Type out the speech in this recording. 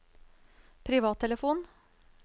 privattelefon